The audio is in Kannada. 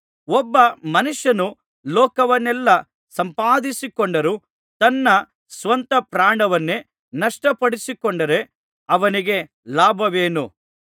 ಒಬ್ಬ ಮನುಷ್ಯನು ಲೋಕವನ್ನೆಲ್ಲಾ ಸಂಪಾದಿಸಿಕೊಂಡರೂ ತನ್ನ ಸ್ವಂತ ಪ್ರಾಣವನ್ನೇ ನಷ್ಟಪಡಿಸಿಕೊಂಡರೆ ಅವನಿಗೆ ಲಾಭವೇನು